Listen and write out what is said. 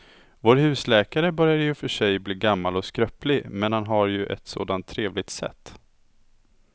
Vår husläkare börjar i och för sig bli gammal och skröplig, men han har ju ett sådant trevligt sätt!